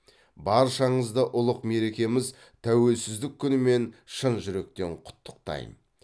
баршаңызды ұлық мерекеміз тәуелсіздік күнімен шын жүректен құттықтайм